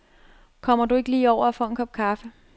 Kommer du ikke lige over og får en kop kaffe.